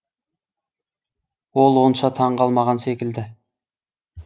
ол онша таң қалмаған секілді